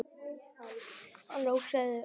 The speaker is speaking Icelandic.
Gunnar Atli: Loka deildum?